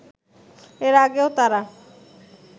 এর আগেও তারা